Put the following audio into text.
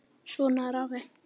Svona er afi.